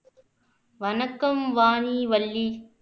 வணக்கம் வாணி வள்ளி